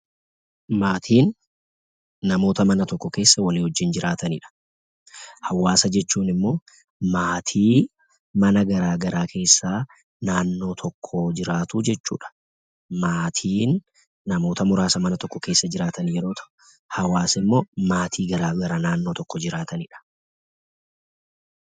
Maatiin namoota mana tokko keessa waliin jiraatanidha. Hawaasa jechuun immoo maatii mana garaagaraa keessa naannoo tokko jiraatu jechuudha. Maatiin namoota muraasa mana tokko keessa jiraatan yemmuu ta'u, hawaasni immoo maatii garaagaraa naannoo tokko jiraatanidha.